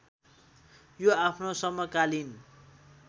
यो आफ्नो समकालीन